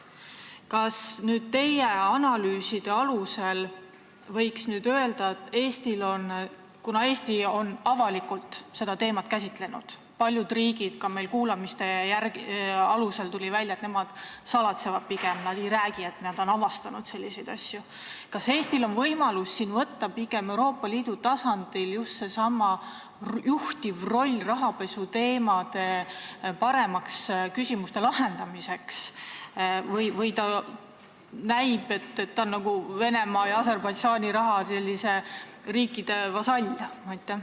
Kas teie analüüside alusel võiks öelda, et kuna Eesti on avalikult seda teemat käsitlenud, aga paljud riigid – see tuli ka meil kuulamistel välja – pigem salatsevad ega räägi, et nad on selliseid asju avastanud, siis kas Eestil on võimalus võtta Euroopa Liidu tasandil seesama juhtiv roll rahapesuküsimuste paremaks lahendamiseks või näib, et ta on nagu Venemaa ja Aserbaidžaani raha tõttu nende riikide vasall?